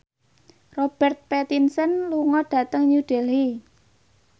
Robert Pattinson lunga dhateng New Delhi